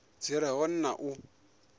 dzi re hone na u